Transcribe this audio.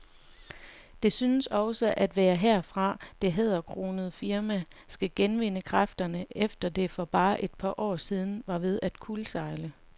Det synes også at være herfra, det hæderkronede firma skal genvinde kræfterne, efter at det for bare et par år siden var ved at kuldsejle.